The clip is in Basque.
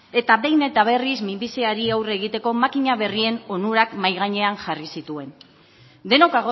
eta behin eta berriz minbiziari aurre egiteko makina berrien onurak mahai gainean jarri zituen denok